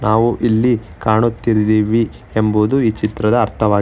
ನಾವು ಇಲ್ಲಿ ಕಾಣುತಿರ್ದಿವಿ ಎಂಬುದು ಈ ಚಿತ್ರದ ಅರ್ಥವಾಗಿ--